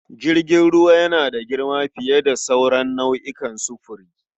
Jirgin ruwa yana da girma fiye da sauran nau'o'in furuci.